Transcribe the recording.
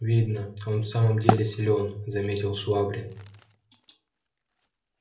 видно он в самом деле силён заметил швабрин